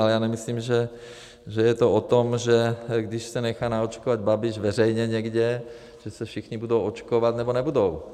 A já nemyslím, že je to o tom, že když se nechá naočkovat Babiš veřejně někde, že se všichni budou očkovat, nebo nebudou.